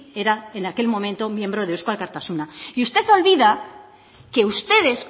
era en aquel momento miembro de eusko alkartasuna y usted olvida que ustedes